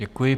Děkuji.